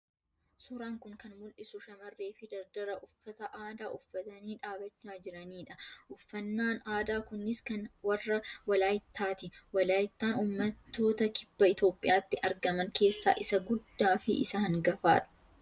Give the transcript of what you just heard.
Suuraan kun kan mul'isu shamarree fi dardara uffata aadaa uffatanii dhaabachaa jiranii dha. Uffannaan aadaa kunis kan warra Walaayittaa ti. Walaayittaan ummattoota kibba Itoophiyaatti argaman keessaa isa guddaa fi isa hangafa.